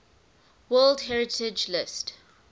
world heritage list